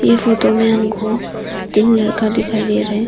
यह फोटो में हमको तीन लड़का दिखाई दे रहे हैं।